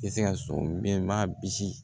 I bɛ se ka so bɛɛ ma bisi